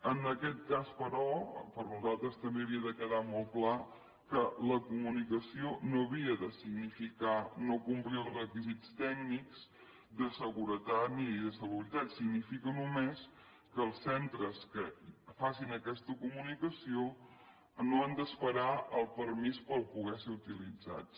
en aquest cas però per nosaltres també havia de quedar molt clar que la comunicació no havia de significar no complir els requisits tècnics de seguretat ni de salubritat significa només que els centres que facin aquesta comunicació no han d’esperar el permís per poder ser utilitzats